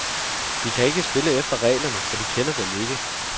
De kan ikke spille efter reglerne, for de kender dem ikke.